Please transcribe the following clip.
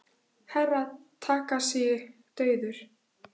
Herra Takashi dauður!